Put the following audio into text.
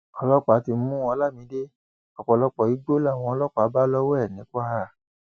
ọlọpàá ti mú olamide ọpọlọpọ igbó làwọn ọlọpàá bá lọwọ ẹ ní kwara